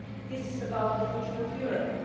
This is about the future of Europe.